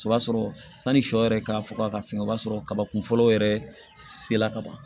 O b'a sɔrɔ sani sɔ yɛrɛ ka faga ka fin o b'a sɔrɔ kabakun fɔlɔ yɛrɛ sela ka ban